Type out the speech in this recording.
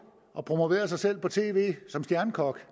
og promoverede sig selv på tv som stjernekok